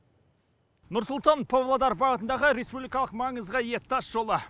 нұр сұлтан павлодар бағытындағы республикалық маңызға ие тасжолы